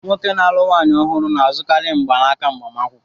Nwoke na-alụ nwaanyị ọhụrụ na-azụkarị mgbanaka agbamakwụkwọ